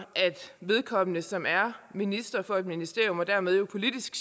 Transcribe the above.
vedkommende som er minister for et ministerium og dermed jo politisk